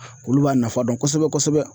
Olu b'a nafa dɔn kosɛbɛ kosɛbɛ.